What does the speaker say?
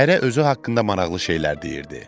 Hərə özü haqqında maraqlı şeylər deyirdi.